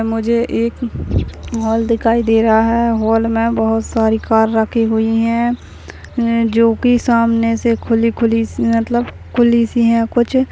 मुझे एक हॉल दिखाई दे रहा है हॉल में बहुत सारी कार रखी हुई है हम्म जो की सामने से खुली खुली मतलब खुलिसी है कुछ --